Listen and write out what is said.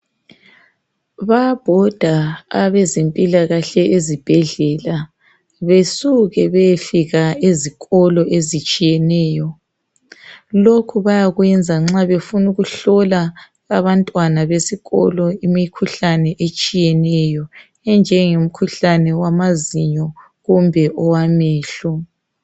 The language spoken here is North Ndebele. Bayabhoda abezempila kahle ezibhedlela besuke beyefika ezikolo ezitshiyeneyo lokhu bayakwenza nxa befuna ukuhlola abantwana besikolo imikhuhlane etshiyeneyo enjenge mkhuhlane wama zinyo kumbe owamehlo.